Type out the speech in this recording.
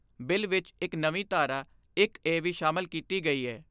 Bill ਵਿਚ ਇਕ ਨਵੀਂ ਧਾਰਾ ਇਕ ਏ ਵੀ ਸ਼ਾਮਲ ਕੀਤੀ ਗਈ ਏ।